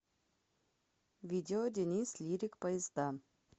видео денис лирик поезда